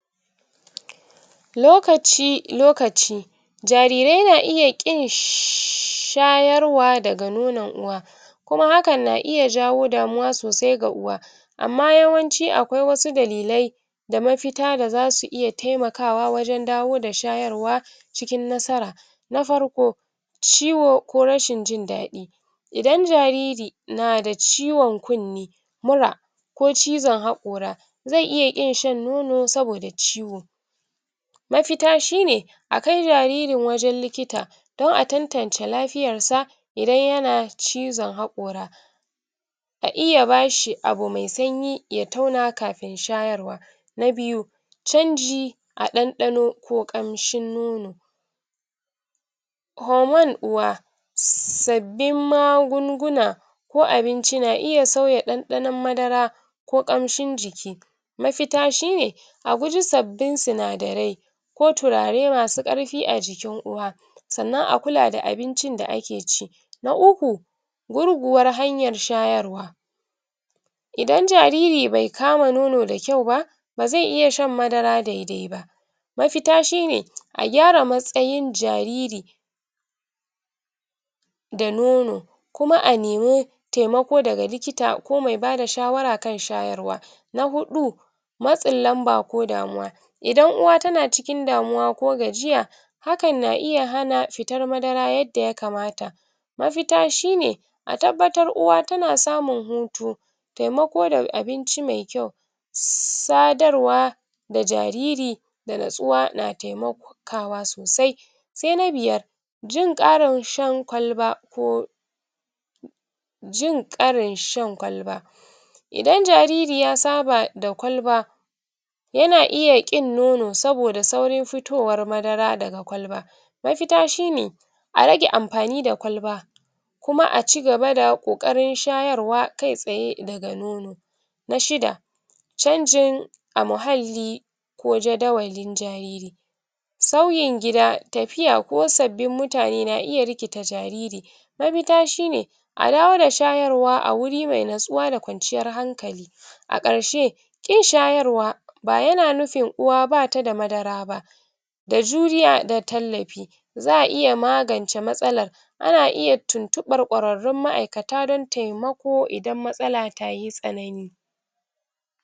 lokaci lokaci jarirai na iya ƙin shayarwa daga nono uwa kuma hakan na iya jawo damuwa sosai ga uwa amma yawanci akwai wasu dalilai da mafita da zasu iya taimakawa wajan dawo da shayarwa cikin nasara na farko ciwo ko rashin jin daɗi idan jariri nada ciwan kunni mura ko cizan haƙora zai iya ƙinshan nono saboda ciwo mafita shine akai jaririn wajan likita don a tantance lafiyansa idan yana cizan haƙora a iya bashi abu mai sanyi ya tauna kafin shayarwa na biyu canji a ɗanɗano ko ƙanshin nono koman uwa [sabin magunguna ko abinci na iya sauya ɗanɗano madara ko ƙanshin jiki mafita shine aguji sabbin sinadarai ko turaremasu ƙarfi a jikin uwa sannan akula da abincin da ake ci na uku gurguwan hanyar shayarwa idan jariri bai kama nono da kyau ba bazai iya shan madara daidaiba mafita shine a gyara matsayin jariri da nono kuma a nimi taimako daga likita ko maibada shawara kan shayarwa na huɗu matsin lamba ko damuwa idan uwa tana cikin damuwa ko gajiya hakan na iya hana fitan madara yanda ya kamata mafita shine atabbatar uwa tana samun hutu taimako daga abinci mai kyau sadarwa da jariri da natsuwa na taimako taimakawa sosai sai na biyar jin ƙarin shan kwalba ko jin ƙarin shan kwalba idan jariiri ya saba da shan kwalba yana iya ƙin nono saboda saurin fitowar madara daga kwalba mafita shine arage anfani da kwalba kuma acigaba da ƙoƙarin shayarwa kaitsaye daga nono na shida canjin a mahalli ko jadawalin jariri sauyin gida tafiya ko sabbin mutane na iya rikita jariri mafita shine adawo da shayarwa awuri mai natsuwa da kwanciyan hankali a ƙarshe kin shayarwa bayana nufin uwa batada madara ba da juriya da tallafi za'aiya magance matsalan ana iya tuntuɓar kwararrun ma aikata dan taimako idan matsala taye sanani